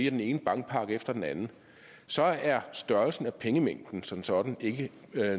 af den ene bankpakke efter den anden så er størrelsen af pengemængden som sådan ikke